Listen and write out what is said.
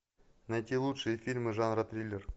найти лучшие фильмы жанра триллер